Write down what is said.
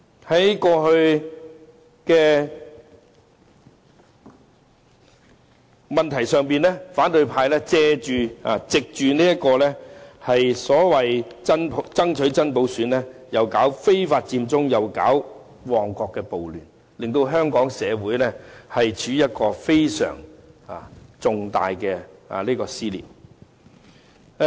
在過去，反對派藉着爭取真普選搞非法佔中和旺角暴亂，令香港社會出現非常重大的撕裂。